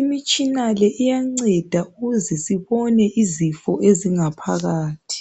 imitshina le iyanceda ukuze sibone izifo ezingaphakathi.